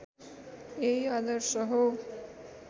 यही आदर्श हो